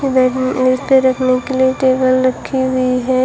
रखने के लिए टेबल रखी हुई है।